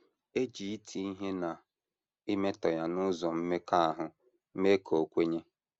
E ji iti ihe na imetọ ya n’ụzọ mmekọahụ mee ka o kwenye.